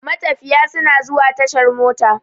Matafiya suna zuwa tashar mota.